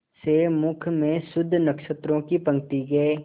से मुख में शुद्ध नक्षत्रों की पंक्ति के